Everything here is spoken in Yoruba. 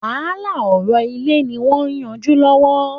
Wàhálà ọ̀rọ̀ ilẹ̀ ni wọn ń yanjú lọ́wọ́